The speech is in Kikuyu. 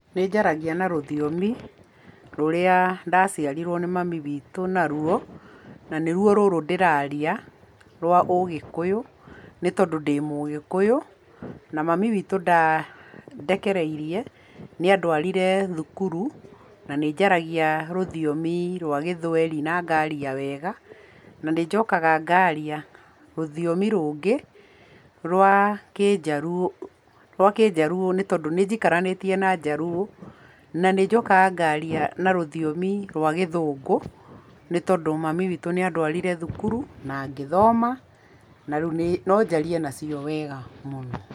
Nĩ njaragia na rũthiomi rũrĩa ndaciarĩrwo nĩ mami witũ naruo, na nĩ ruo rũrũ ndĩraria, rwa ũgĩkũyũ, nĩ tondũ ndĩ mũgĩkũyũ, na mami witũ ndandekĩrĩirie, nĩa ndwarire thukuru, na nĩ njaragia rũthiomi rwa gĩthwaĩri na ngaria wega, na nĩ njũkaga ngaria rũthiomi rũngĩ rwa kĩjaruo nĩ tondũ nĩ jikaranĩtie na jaruo na nĩ njokaga ngaria na rũthiomi rwa gĩthũngu nĩ tondũ mami witũ nĩ anduarirĩ thukuru na ngĩthoma na rĩu no njarie nacio wega.